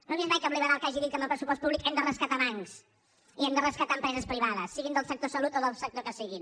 no he vist mai cap liberal que hagi dit que amb el pressupost públic hem de rescatar bancs i hem de rescatar empreses privades siguin del sector salut o del sector que siguin